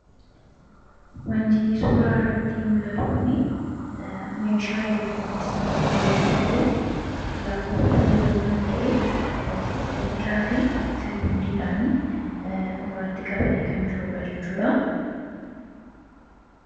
Wanti suuraa irratti mul'atu kun meeshaa eleektirooniksii ammayyaa yoo ta’u, lakkooftuu yeroo kan ta’e daqiiqaa fi sekoondiidhaan ofirratti qabatee kan jirudha jechuudha.